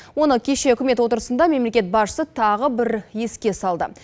оны кеше үкімет отырысында мемлекет басшысы тағы бір еске салды